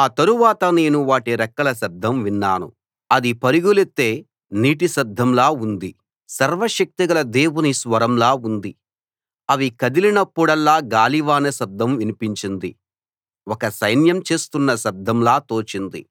ఆ తరువాత నేను వాటి రెక్కల శబ్దం విన్నాను అది పరుగులెత్తే నీటి శబ్దంలా ఉంది సర్వశక్తిగల దేవుని స్వరంలా ఉంది అవి కదిలినప్పుడల్లా గాలివాన శబ్దం వినిపించింది ఒక సైన్యం చేస్తున్న శబ్దంలా తోచింది